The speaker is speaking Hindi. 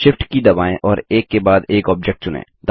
Shift की दबाएँ और एक के बाद एक ऑब्जेक्ट चुनें